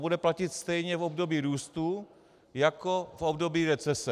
To bude platit stejně v období růstu jako v období recese.